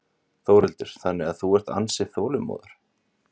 Þórhildur: Þannig að þú ert ansi þolinmóður?